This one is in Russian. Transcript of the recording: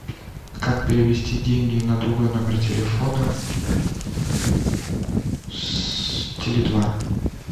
как перевести деньги на другой номер телефона с теле два